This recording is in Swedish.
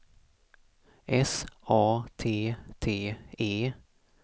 S A T T E